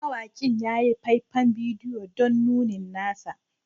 Mawakin ya yi faifan bidiyo don nunin nasa